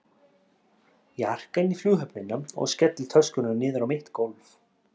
Ég arka inn í Flughöfnina og skelli töskunum niður á mitt gólf.